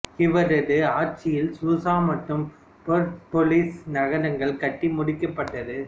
இவரது ஆட்சியில் சூசா மற்றும் பெர்சப்பொலிஸ் நகரங்கள் கட்டி முடிக்கப்பட்டது